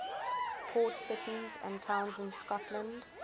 port cities and towns in scotland